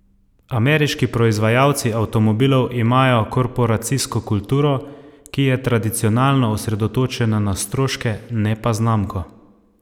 Ameriški proizvajalci avtomobilov imajo korporacijsko kulturo, ki je tradicionalno osredotočena na stroške, ne pa znamko.